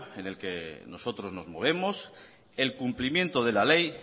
en el que nosotros nos movemos el cumplimiento de la ley